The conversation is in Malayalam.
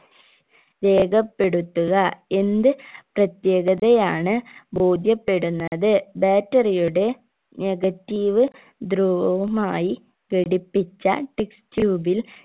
രേഖപ്പെടുത്തുക എന്ത് പ്രത്യേകതയാണ് ബോധ്യപ്പെടുന്നത് battery യുടെ negative ധ്രുവവുമായി ഘടിപ്പിച്ച test tube ൽ